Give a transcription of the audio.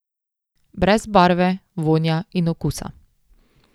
Brez barve, vonja in okusa!